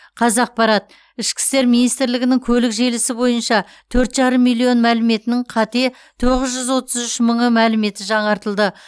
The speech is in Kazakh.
қазақпарат ішкі істер министрлігінің көлік желісі бойынша төрт жарым миллион мәліметінің қате тоғыз жүз отыз үш мыңы мәліметі жаңартылды